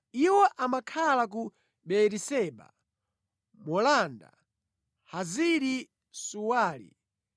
Iwo amakhala ku Beeriseba, Molada, Hazari-Suwali,